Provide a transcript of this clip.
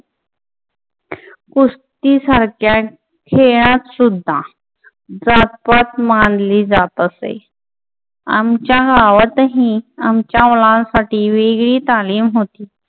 कुस्ती सारख्या खेळात सुद्धा जात-पात मानले जात असे. आमच्या गावातही आमच्या मुलांसाठी वेगळी तालीम होती.